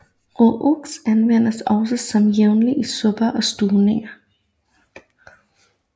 Roux anvendes også som jævning i supper og stuvninger